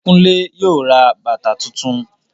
Kunle yóò ra bàbà tuntun